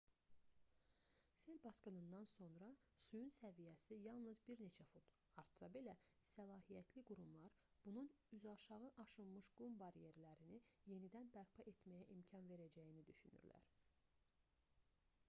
sel basqınından sonra suyun səviyyəsi yalnız bir neçə fut artsa belə səlahiyyətli qurumlar bunun üzüaşağı aşınmış qum baryerlərini yenidən bərpa etməyə imkan verəcəyini düşünürlər